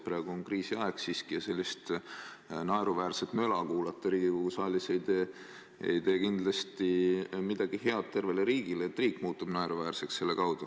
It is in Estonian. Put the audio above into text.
Praegu on kriisiaeg ja sellist naeruväärset möla kuulata Riigikogu saalis – see ei tee kindlasti head tervele riigile, riik muutub selle tõttu naeruväärseks.